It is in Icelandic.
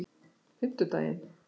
fimmtudaginn